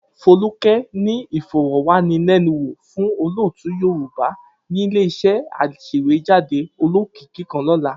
Folúkẹ́ ní ìfọ̀rọ̀wánilẹ́nuwò fún olótùú Yorùbá ní ilé-iṣẹ́ aṣèwéjádé olókìkí kan lọ́la.